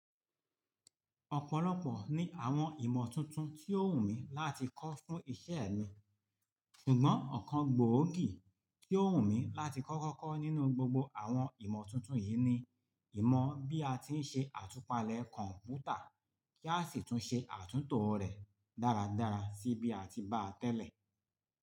Ọ̀pọ̀lọpọ̀ ni àwọn ìmọ̀ tuntun tí ó wù mí láti kọ́ fún iṣẹ́ mi. Ṣùgbọ́n ọ̀kan gbòógì tí ó wù mí láti kọ́ kọ́kọ́ nínú gbogbo àwọn ìmọ̀ tuntun yìí ni ìmọ̀ bí a ti ń ṣe àtúpalẹ̀ kọ̀m̀pútà kí a sì tún ṣe àtúntò rẹ̀ dáradára sí bí a ti bá tẹ́lẹ̀